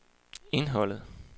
indholdet